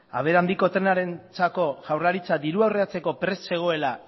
abiadura handiko trenarentzako jaurlaritza dirua aurreratzeko prest zegoela